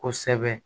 Kosɛbɛ